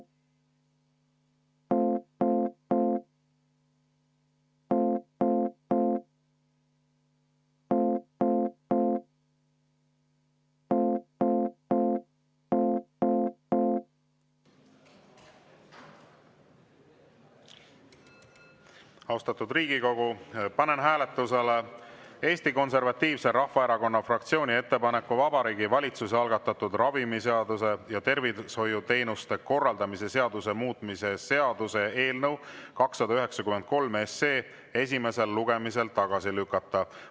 Austatud Riigikogu, panen hääletusele Eesti Konservatiivse Rahvaerakonna fraktsiooni ettepaneku Vabariigi Valitsuse algatatud ravimiseaduse ja tervishoiuteenuste korraldamise seaduse muutmise seaduse eelnõu 293 esimesel lugemisel tagasi lükata.